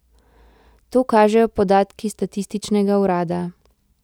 To kažejo podatki statističnega urada.